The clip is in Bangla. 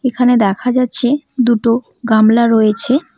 এখানে দেখা যাচ্ছে দুটো গামলা রয়েছে।